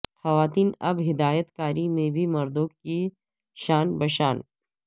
خواتین اب ہدایت کاری میں بھی مردوں کے شانہ بشانہ